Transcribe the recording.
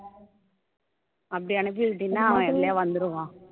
அப்படி அனுப்பி விட்டீன்னா அவன் எதுலயாவது வந்துடுவான்